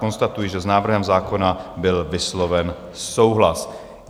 Konstatuji, že s návrhem zákona byl vysloven souhlas.